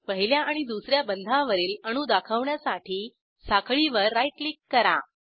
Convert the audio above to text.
पहिल्या आणि दुस या बंधावरील अणू दाखवण्यासाठी साखळीवर राईट क्लिक करा